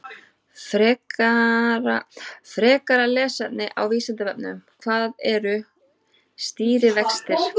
Frekara lesefni á Vísindavefnum: Hvað eru stýrivextir?